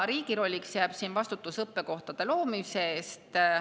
Riigi rolliks jääb siin vastutus õppekohtade loomise eest.